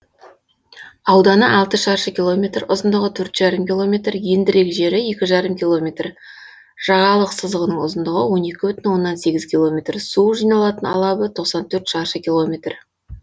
ауданы алты шаршы километр ұзындығы төрт жарым километр ендірек жері екі жарым километр жағалық сызығының ұзындығы он екі бүтін оннан сегіз километр су жиналатын алабы тоқсан төрт шаршы километр